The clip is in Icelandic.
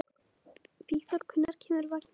Vígþór, hvenær kemur vagn númer fjörutíu og sjö?